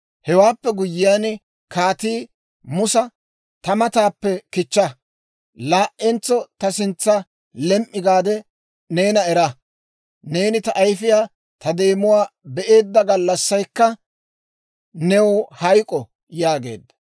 Hewaappe guyyiyaan kaatii Musa, «Ta mataappe kichcha! Laa"entso ta sintsan lem"i gaade neena era! Neeni ta ayfiyaa ta deemuwaa be'eedda gallassaykka new hayk'k'o» yaageedda.